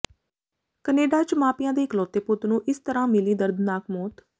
Canada ਚ ਮਾਪਿਆਂ ਦੇ ਇਕਲੋਤੇ ਪੁੱਤ ਨੂੰ ਇਸ ਤਰਾਂ ਮਿਲੀ ਦਰਦਨਾਕ ਮੌਤ